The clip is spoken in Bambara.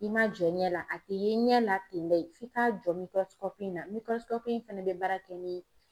N'i ma jɔ ɲɛ la a te ye ɲɛ la ten koye f'i k'a jɔ mikɔrɔsikɔpu in na mikɔrɔsikɔpu in fɛnɛ be baara kɛ ni